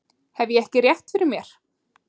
Hef ég ekki rétt fyrir mér?